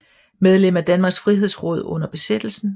Medlem af Danmarks Frihedsråd under besættelsen